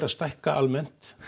stækka almennt